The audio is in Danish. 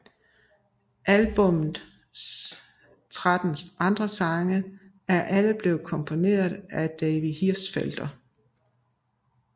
Albummets tretten andre sange er alle blevet komponeret af David Hirschfelder